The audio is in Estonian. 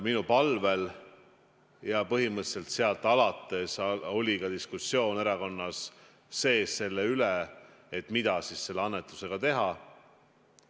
Minu palvel ja põhimõtteliselt sealt alates oli ka diskussioon erakonna sees selle üle, mida siis selle annetusega teha.